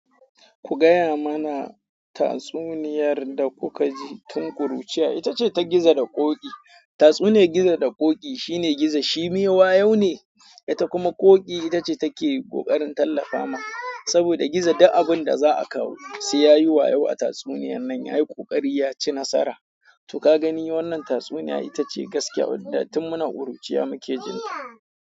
Ku gaya mana tatsuniyar da kuka ji tun kuruciya, ita ce ta gizo da ƙoƙi. Tatsuniyar gizo da ƙoƙi, shine gizo shi mewa yau ne, ita kuma ƙoƙi ita ce take ƙoƙarin tallafa ma, saboda gizo duk abin da za a kawo sai ya yi wayo a tatsuniyar nan, yayi kokari ya ci nasara. To ka gani wannan tatsuniya ita ce gaskiya, wanda tun muna ƙuruciya muke jin ta.